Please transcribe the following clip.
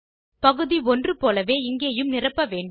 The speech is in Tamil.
பகுதி 1 போலவே இங்கேயும் நிரப்ப வேண்டும்